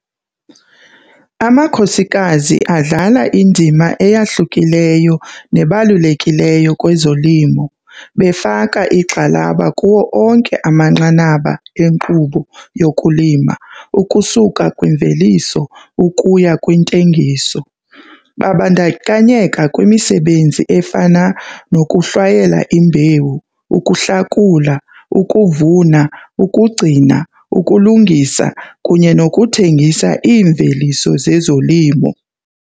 Amakhosikazi adlala indima eyahlukileyo nebalulekileyo kwezolimo befaka igxalaba kuwo onke amanqanaba enkqubo yokulima ukusuka kwimveliso ukuya kwintengiso. Babandakanyeka kwimisebenzi efana nokuhlwayela imbewu, ukuhlakula, ukuvuna, ukugcina, ukulungisa kunye nokuthengisa iimveliso zezolimo.